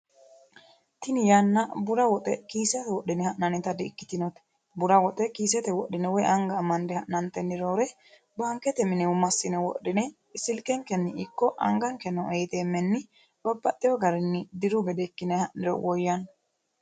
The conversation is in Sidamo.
tini yanna bura woxe anga woyi kiisete wodhine ha'nannita di ikkitino bura woxe kiisete wodhine woy anga amande ha'nantenni roore baankete mine massine wodhine silkekkenni ikko angakke noo iiteemmeenni babbaxewo garinni diru gede ikkine ha'niro woyanno.